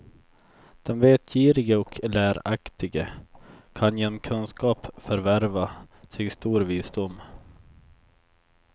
Den vetgirige och läraktige kan genom kunskap förvärva sig stor visdom.